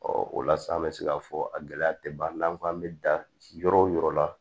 o la sa an bɛ se k'a fɔ a gɛlɛya tɛ ban n'an ko an bɛ da yɔrɔ o yɔrɔ la